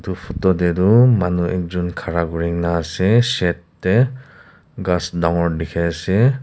fethor te tu manu ekjont khara kori kini ase side te gass dagur dekhi ase.